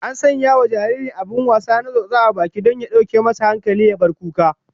An sanya wa jaririn abin wasa na tsotsa a baki don ya dauke masa hankali ya bar kuka